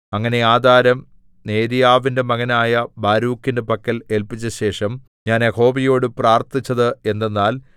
അങ്ങനെ ആധാരം നേര്യാവിന്റെ മകനായ ബാരൂക്കിന്റെ പക്കൽ ഏല്പിച്ചശേഷം ഞാൻ യഹോവയോടു പ്രാർത്ഥിച്ചത് എന്തെന്നാൽ